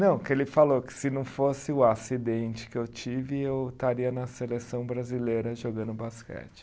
Não, porque ele falou que se não fosse o acidente que eu tive, eu estaria na seleção brasileira jogando basquete.